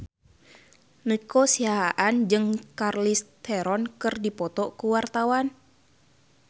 Nico Siahaan jeung Charlize Theron keur dipoto ku wartawan